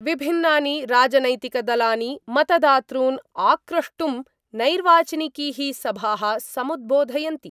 विभिन्नानि राजनैतिकदलानि मतदातॄन् आक्रष्टुं नैर्वाचनिकी: सभाः समुद्बोधयन्ति